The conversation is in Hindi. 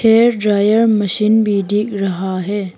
हेयर ड्रायर मशीन भी दिख रहा है।